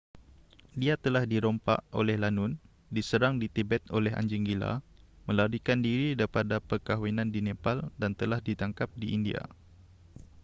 dia telah dirompak oleh lanun diserang di tibet oleh anjing gila melarikan diri daripada perkahwinan di nepal dan telah ditangkap di india